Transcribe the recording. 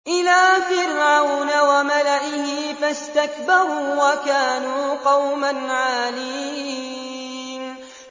إِلَىٰ فِرْعَوْنَ وَمَلَئِهِ فَاسْتَكْبَرُوا وَكَانُوا قَوْمًا عَالِينَ